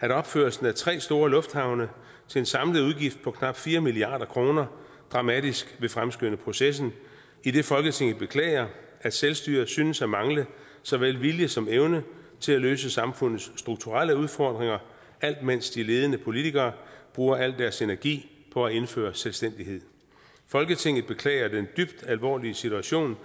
at opførelsen af tre store lufthavne til en samlet udgift på knap fire milliarder kroner dramatisk vil fremskynde processen idet folketinget beklager at selvstyret synes at mangle såvel vilje som evne til at løse samfundets strukturelle udfordringer alt imens de ledende politikere bruger al deres energi på at indføre selvstændighed folketinget beklager den dybt alvorlige situation